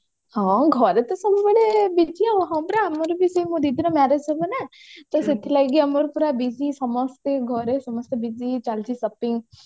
ହଁ ଘରେ ତ ସବୁ ମାନେ busy ଆଉ ହଁ ପରା ଆମର ବି same ମୋ ଦିଦି ର marriage ହବ ନା ତ ସେଥିଲାଗି ଆମର ସବୁ busy ସମସ୍ତେ ଘରେ busy ଚାଲିଛି shopping